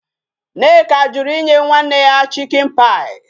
Nneka jụrụ inye nwanne ya chichen-pie.